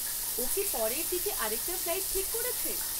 ও কি পরের দিকে আরেকটা ফ্লাইট ঠিক করেছে?